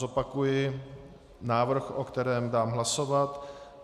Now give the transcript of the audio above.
Zopakuji návrh, o kterém dám hlasovat.